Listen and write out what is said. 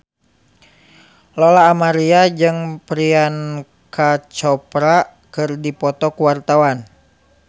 Lola Amaria jeung Priyanka Chopra keur dipoto ku wartawan